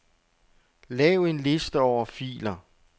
Lav en liste over filer.